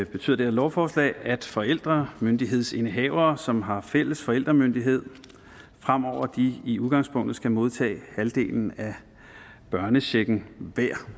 betyder det her lovforslag at forældre myndighedsindehavere som har fælles forældremyndighed fremover i udgangspunktet hver skal modtage halvdelen af børnechecken